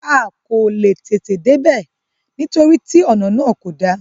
A kò leè tètè dé bẹ̀, nítorí tí ònà náà kò da.